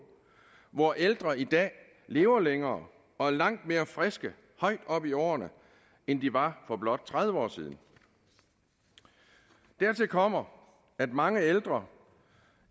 hvor ældre i dag lever længere og er langt mere friske højt op i årene end de var for blot tredive år siden dertil kommer at mange ældre